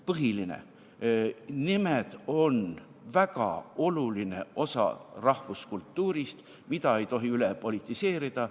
Põhiline: nimed on väga oluline osa rahvuskultuurist, mida ei tohi üle politiseerida.